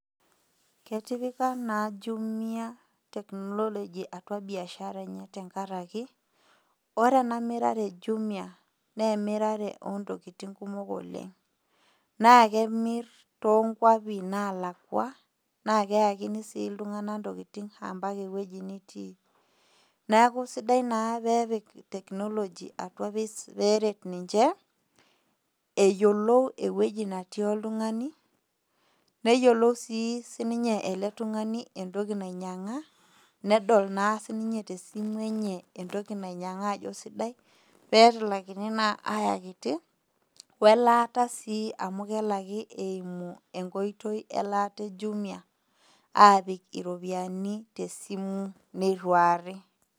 Ketipaka na jumia technology atua biashara enye tenkaraki ore enamirare ejimia na ekntokitin kumok oleng na kemir to kwapi nalakwa na keuskini si ltunganak tonkwapi natii neaku sidai na pepik teknology atua perert ninche eyioo ewoi natii oltungani neyiolou ii eletungani netijinga nedo na ninye tesimu ayakiti welaata sii amu kelaki einu enkoitoi eju nituari